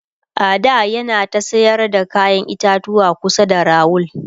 a da yana ta sayar da kayan itatuwa kusa da rawul